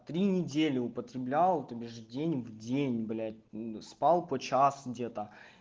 три недели употреблял то бишь день в день блять мм спал по час где-то